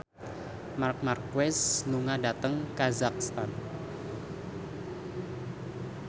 Marc Marquez lunga dhateng kazakhstan